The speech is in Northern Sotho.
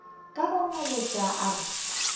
ka go ngaletša a re